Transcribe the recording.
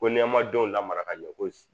Ko n'i y'a denw lamara ka ɲɛ ko